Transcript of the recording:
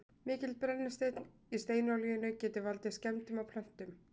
mikill brennisteinn í steinolíunni getur valdið skemmdum á plöntunum